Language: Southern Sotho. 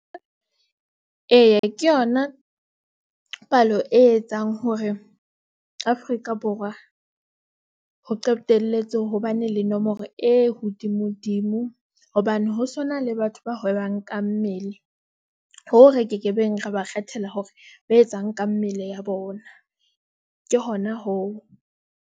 Eya, ke yona palo e etsang hore Afrika- Borwa ho qetelletse ho bane le nomoro e hodimodimo. Hobane ho sona le batho ba hwebang ka mmele hoo re kekebeng, ra ba kgethela hore ba etsang ka mmele ya bona ke hona hoo.